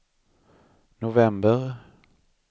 november